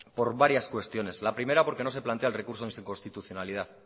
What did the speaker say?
por varias cuestiones la primera por que no se plantea el recurso de inconstitucionalidad